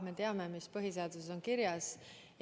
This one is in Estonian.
Me teame, mis põhiseaduses kirjas on.